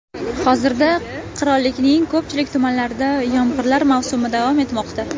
Hozirda qirollikning ko‘pchilik tumanlarida yomg‘irlar mavsumi davom etmoqda.